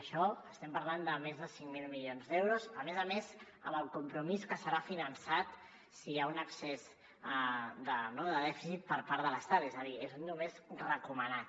això estem parlant de més de cinc mil milions d’euros a més a més amb el compromís que serà finançat si hi ha un excés de dèficit per part de l’estat és a dir només recomanat